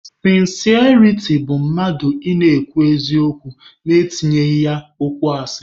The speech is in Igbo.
Sịnsịariti bụ mmadụ ị na-ekwu eziokwu na-etinyeghị ya okwu asị.